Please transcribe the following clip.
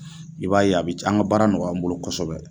I b'a ye a bi an an ka baara nɔgɔya an bolo kosɛbɛ